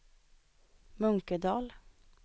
Munkedal